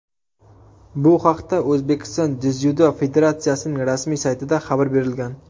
Bu haqda O‘zbekiston dzyudo federatsiyasining rasmiy saytida xabar berilgan .